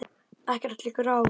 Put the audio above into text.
Ekkert liggur á